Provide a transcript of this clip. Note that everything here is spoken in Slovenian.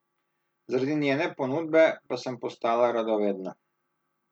Zaradi njene ponudbe pa sem postala radovedna.